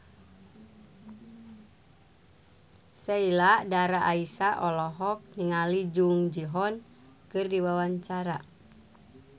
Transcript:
Sheila Dara Aisha olohok ningali Jung Ji Hoon keur diwawancara